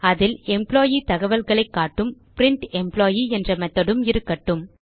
அதில் எம்ப்ளாயி தகவல்களைக் காட்டும் பிரிண்டம்ப்ளாயி என்ற மெத்தோட் உம் இருக்கட்டும்